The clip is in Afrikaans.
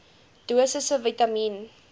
dosisse vitamien